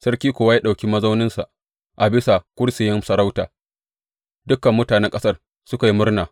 Sarki kuwa ya ɗauki mazauninsa a bisa kursiyin sarauta, dukan mutanen ƙasar suka yi murna.